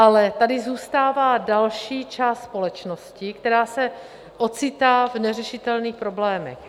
Ale tady zůstává další část společnosti, která se ocitá v neřešitelných problémech.